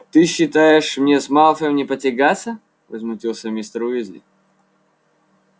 ты считаешь мне с малфоем не потягаться возмутился мистер уизли